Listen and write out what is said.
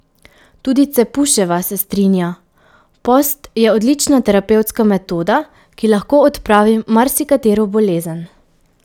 Tudi Cepuševa se strinja: "Post je odlična terapevtska metoda, ki lahko odpravi marsikatero bolezen.